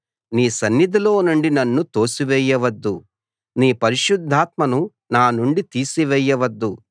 నీ సన్నిధిలో నుండి నన్ను తోసివేయవద్దు నీ పరిశుద్ధాత్మను నా నుండి తీసివేయవద్దు